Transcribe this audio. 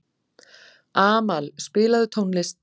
Amal, spilaðu tónlist.